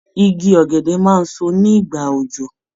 Igi ọ̀gẹ̀dẹ̀ máa so ní ìgbà òjò.